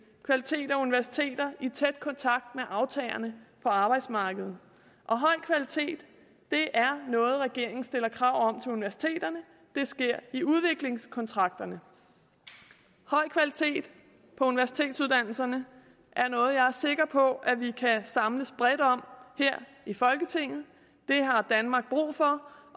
kvalitet er universiteter i tæt kontakt med aftagerne på arbejdsmarkedet og høj kvalitet er noget regeringen stiller krav om til universiteterne det sker i udviklingskontrakterne høj kvalitet på universitetsuddannelserne er noget jeg er sikker på at vi kan samles bredt om her i folketinget det har danmark brug for